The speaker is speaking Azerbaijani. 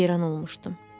Mən heyran olmuşdum.